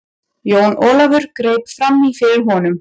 Jón Ólafur greip framí fyrir honum.